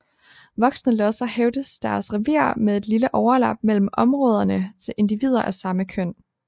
Voksne losser hævder deres revir med et lille overlap mellem områderne til individer af samme køn